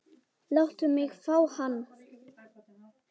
Láttu mig fá hann.